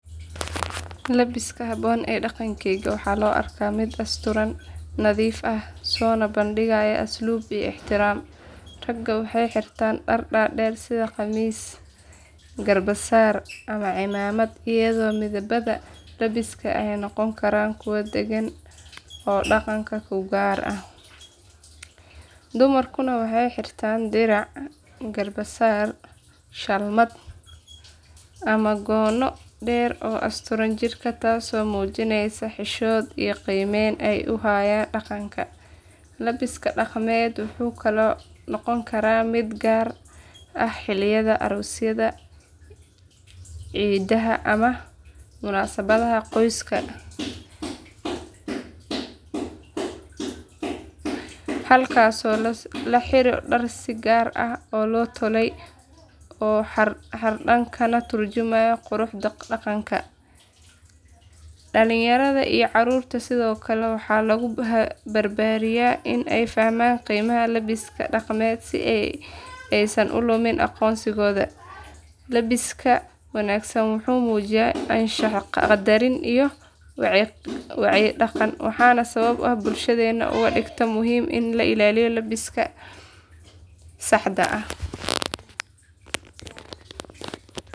Labbiska habboon ee dhaqankayga waxaa loo arkaa mid asturan, nadiif ah, soona bandhigaya asluub iyo ixtiraam. Ragga waxay xirtaan dhar dhaadheer sida khamiis, garbasaar ama cimaamad iyadoo midabada labbiska ay noqon karaan kuwo deggan oo dhaqanka u gaar ah. Dumarkuna waxay xirtaan dirac, garbasaar, shalmad ama goono dheer oo asturaya jirka taasoo muujinaysa xishood iyo qiimeyn ay u hayaan dhaqanka. Labbiska dhaqameed wuxuu kaloo noqon karaa mid gaar ah xilliyada aroosyada, ciidaha ama munaasabadaha qoyska halkaasoo la xiro dhar si gaar ah loo tolay oo xardhan kana tarjumaya quruxda dhaqanka. Dhallinyarada iyo carruurta sidoo kale waxaa lagu barbaariyaa in ay fahmaan qiimaha labbiska dhaqameed si aysan u lumin aqoonsigooda. Labbiska wanaagsan wuxuu muujinayaa anshax, qadarin iyo wacyi dhaqan, waana sababta ay bulshadeennu uga dhigto muhiim in la ilaaliyo habka lebbiska saxda ah.